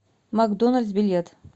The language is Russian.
макдоналдс билет